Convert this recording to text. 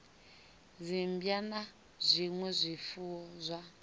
dzimmbwa na zwinwe zwifuwo zwa